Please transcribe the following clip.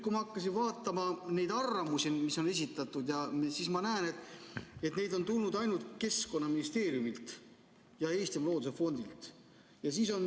Kui ma hakkasin vaatama neid arvamusi, mis on esitatud, siis ma näen, et neid on tulnud ainult Keskkonnaministeeriumilt ja Eestimaa Looduse Fondilt.